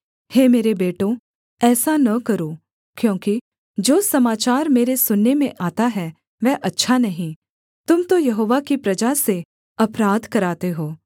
हे मेरे बेटों ऐसा न करो क्योंकि जो समाचार मेरे सुनने में आता है वह अच्छा नहीं तुम तो यहोवा की प्रजा से अपराध कराते हो